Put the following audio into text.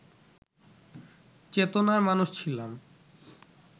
চেতনার মানুষ ছিলাম